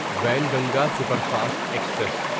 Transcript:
Wainganga superfast express